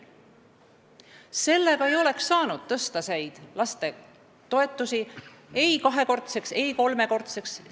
Sellega ei oleks saanud tõsta neid lastetoetusi ei kahekordseks ega ammugi mitte kolmekordseks.